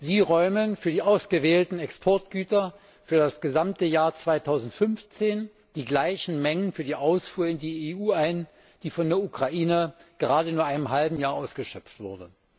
Sie räumen für die ausgewählten Exportgüter für das gesamte Jahr 2015 die gleichen Mengen für die Ausfuhr in die EU ein, die von der Ukraine gerade nur in einem halben Jahr ausgeschöpft wurden.